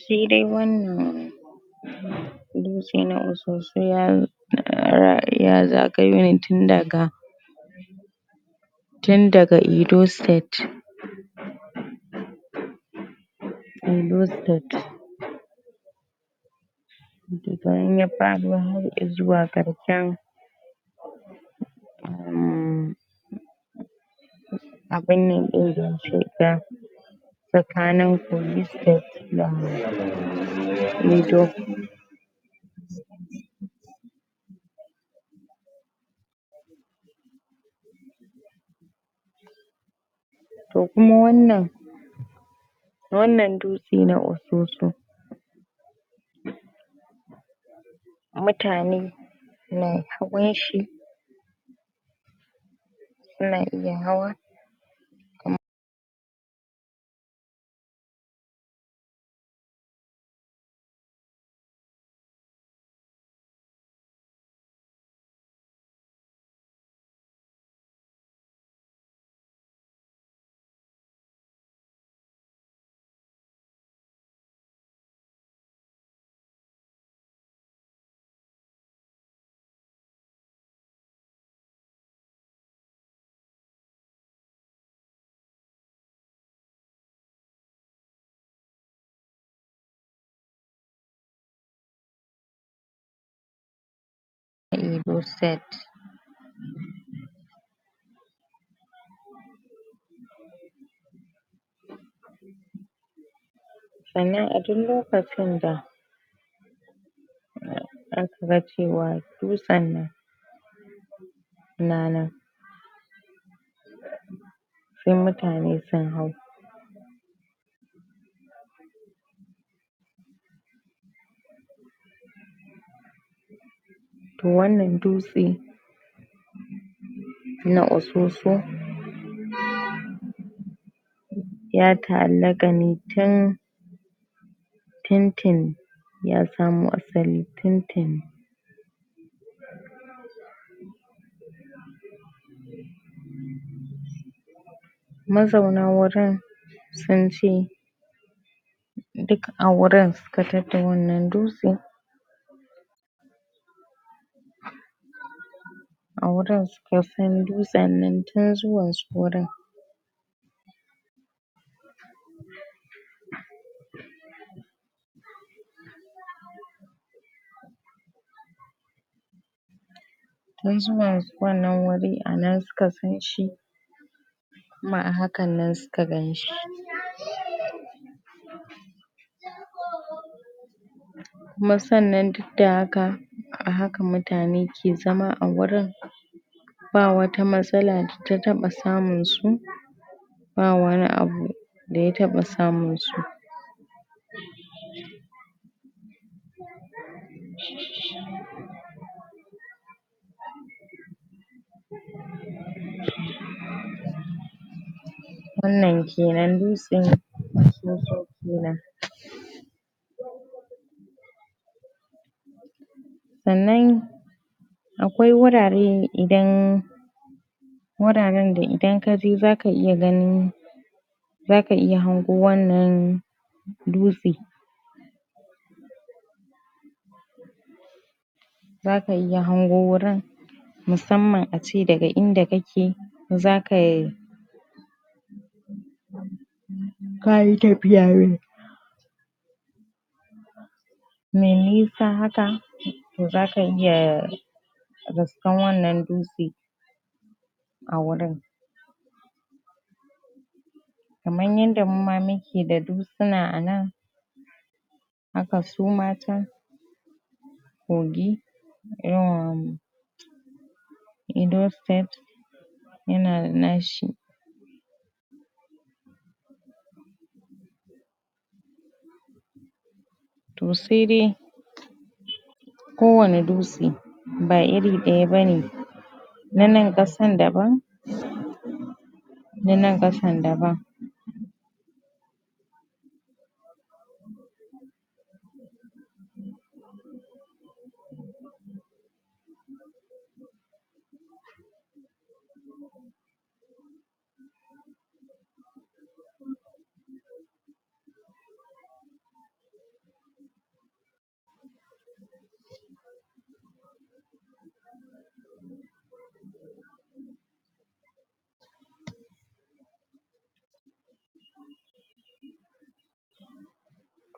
shi dai wannan Dutsen Osusu da irin ya zago tun daga tin daga edo state edo state daga nan yafara har zuwa ga chan um um baina a da cutar tsakanin kogi state da edo to kuma wannan wannan dutse na osusu mutane na hawan shi suna iya hawa irribu set yana a cikin lokaci da da akaga cewa dutsen na nannan sai mutane sin hau to wannan dutse shi ne na osusu ya tahallakane tin tin tin ya samo asali tin tini mazauna wajen sunce dik awurin suka tarda wannan dutse awurin suka san dutsen tin zuwa zuwansu wannan wuri anan suka sanshi kuma a hakan nan suka ganshi kuma sannan dik da haka a haka mutane ke zama a wurin ba wata matsala da taba samin su ba wani abu da ya taba saminsu wannan kenan dutsen osusu kenan sanan akwai wurari idan wurarin dan idan ka je zaka iya gan zaka iya hango wannna duste zaka hango wurin musaman ace daga inda kake zaka um zayake iyaye mai nisa haka to zaka iya riskan wannan dutse awurin kaman yanda muma muke da dutsina anan haka suma can kogi ammmm edo state yana da nashi to sai dai kowani dutse ba iri daya bane nan kasan daban na nan kasan daban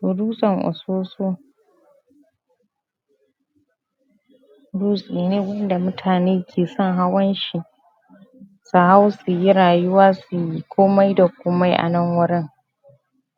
to dutsen osusu dutse ne wanda mutane ke san hawan shi su hau su yi rayiwa suyi komai da komai anan wurin.